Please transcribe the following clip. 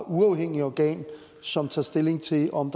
uafhængigt organ som tager stilling til om